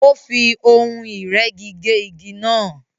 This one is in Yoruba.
Ó fí ohun ìrẹ́gi gé igi náà